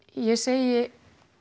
ég segi